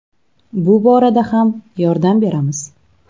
Bu borada ham yordam beramiz.